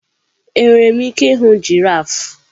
Enwere m ike ịhụ giraf?